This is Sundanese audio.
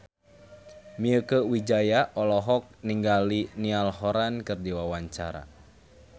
Mieke Wijaya olohok ningali Niall Horran keur diwawancara